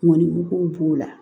Mɔnniko b'o la